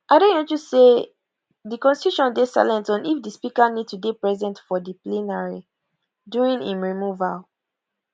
adeyanju say di constitution dey silent on if di speaker need to dey present for di plenary during im removal